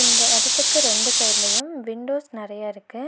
இந்த எடத்துக்கு ரெண்டு சைடுலயு விண்டோஸ் நெறைய இருக்கு.